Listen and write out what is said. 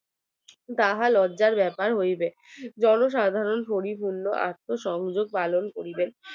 তাহা লজ্জার ব্যাপার হইবে জনসাধারণ পরিপূর্ণ আত্মঅসংযোগ পালন করিবে